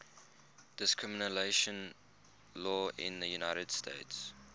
discrimination law in the united states